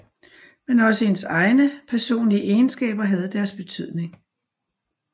Men også hendes egne personlige egenskaber havde deres betydning